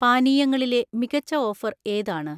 പാനീയങ്ങളിലെ മികച്ച ഓഫർ ഏതാണ്?